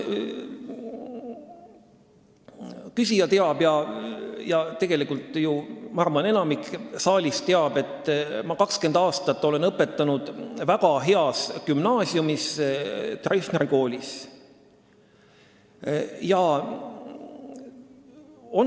Küsija teab ja ma arvan, et enamik saalist teab, et ma olen 20 aastat õpetanud väga heas gümnaasiumis, Treffneri koolis.